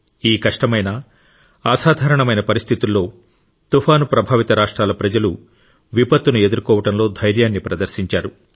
ఈ కష్టమైన అసాధారణమైన పరిస్థితుల్లో తుఫాను ప్రభావిత రాష్ట్రాల ప్రజలు విపత్తును ఎదుర్కోవడంలో ధైర్యాన్ని ప్రదర్శించారు